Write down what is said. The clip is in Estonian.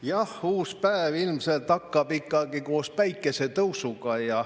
Jah, uus päev ilmselt hakkab ikkagi koos päikesetõusuga.